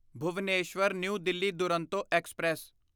Bhubaneswar new Delhi Duronto express